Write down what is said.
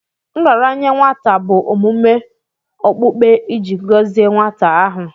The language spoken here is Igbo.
Nraranye nwata bụ omume okpukpe iji gọzie nwata ahụ.